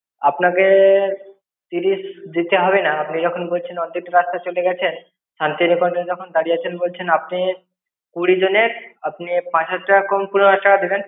আপনাকে তিরিশ দিতে হবে না। আপনি যখন বলছেন এতটা রাস্তা চলে গেছেন। শান্তিনিকেতনে দাঁড়িয়ে আছেন বলছেন। আপনি কুড়ি জনের, আপনি হাজার টাকা কম হাজার টাকা দেবেন।